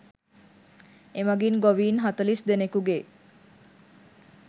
එමගින් ගොවීන් හතළිස් දෙනකුගේ